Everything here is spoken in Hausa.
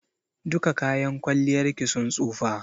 Duka kayan kwalliyar ki sun tsofa.